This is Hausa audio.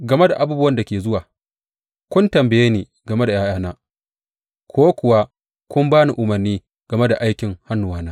Game da abubuwan da ke zuwa, kun tambaye ni game da ’ya’yana, ko kuwa kun ba ni umarni game da aikin hannuwana?